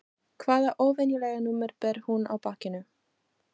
Hvaða óvenjulega númer ber hún á bakinu?